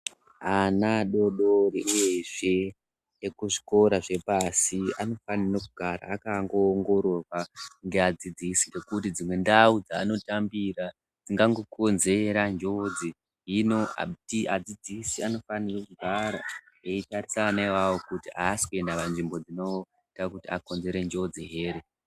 Ana adoodori eshe ekuzvikora zvepashi anofanire kugara akangoongororwa ngeadzidzisi ngekuti dzimwe ndau dzeanotambira dzingangokonzera njodzi. Hino adzidzisi anofanire kugara eitarisa ana ivavo kuti aasi kuenda panzvimbo dzinoita kuti akonzere njodzi here.